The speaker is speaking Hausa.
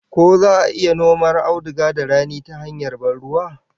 Ko za'a iya noma auduga da rani ta hanyar ban ruwa?